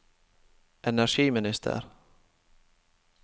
energiministeren